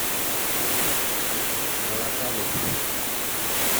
балабанов